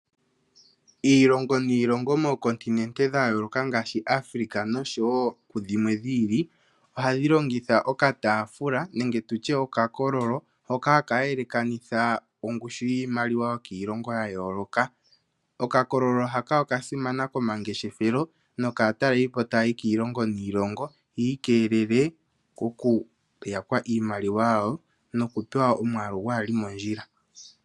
Iilongo niilongo moocontinente dha yooloka ngaashi Africa noshowo kudhimwe dhi ili ohadhi longitha okataafula nenge tutye wo okakololo hoka haka yelekanitha ongushu yiimaliwa yokiilongo ya yooloka. Oka kololo haka oka simana komangeshefelo nokaataleli po taya yi kiilongo niilongo yiikeelele oku yakwa iimaliwa yawo noku pewa omwaalu kaagu li mondjila.